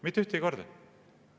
Mitte ühtegi korda!